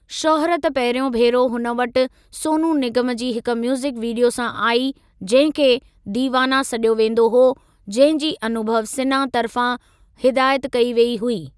शौहरत पहिरियों भेरो हुन वटि सोनू निगम जी हिक म्यूज़िक वीडियो सां आई जंहिं खे 'दीवाना' सॾियो वेंदो हो जंहिं जी अनुभव सिन्हा तर्फ़ां हिदायत कई वेई हुई।